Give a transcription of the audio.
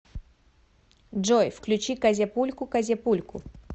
джой включи козяпульку козяпульку